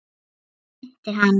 Fyrir það þökkum við honum.